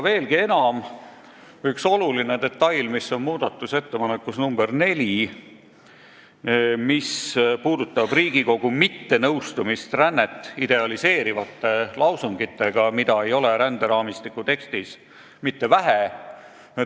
Aga üks oluline detail on muudatusettepanekus nr 4 ja puudutab Riigikogu mittenõustumist rännet idealiseerivate lausungitega, mida ei ole ränderaamistiku tekstis mitte vähe.